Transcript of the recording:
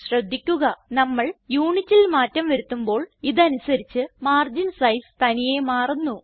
ശ്രദ്ധിക്കുക നമ്മൾ Unitൽ മാറ്റം വരുത്തുമ്പോൾ ഇതിനനുസരിച്ച് മാർഗിൻ സൈസ് തനിയെ മാറുന്നു